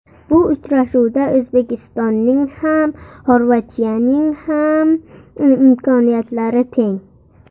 Bu uchrashuvda O‘zbekistonning ham, Xorvatiyaning ham imkoniyatlari teng.